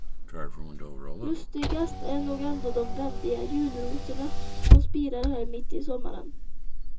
Lustigast är nog ändå de väldiga julrosorna som spirar här mitt i sommaren.